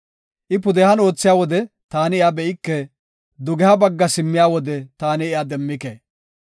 I pudehan oothiya wode taani iya be7ike; dugeha bagga simmiya wode taani iya demmike.